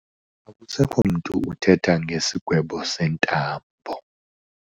Akusekho mntu uthetha ngesigwebo sentambo.